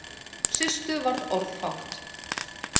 Systu varð orðfátt.